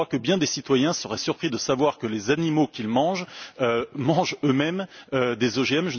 Je crois que bien des citoyens seraient surpris de savoir que les animaux qu'ils mangent mangent eux mêmes des OGM